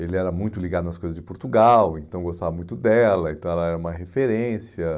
Ele era muito ligado nas coisas de Portugal, então gostava muito dela, então ela era uma referência.